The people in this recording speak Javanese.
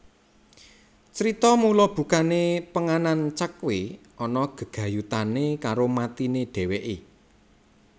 Crita mula bukane penganan Cakhwe ana gegayutane karo matine dheweke